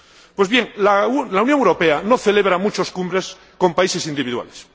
Pues bien, la Unión Europea no celebra muchas cumbres con países individuales.